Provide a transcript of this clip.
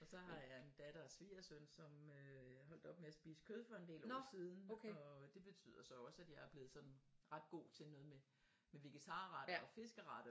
Og så har jeg en datter og svigersøn som øh holdt op med at spise kød for en del år siden og det betyder så også at jeg er blevet sådan ret god til noget med med vegetarretter og fiskeretter